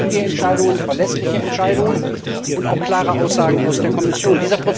Wir brauchen zügige Entscheidungen, verlässliche Entscheidungen und auch klare Aussagen aus der Kommission.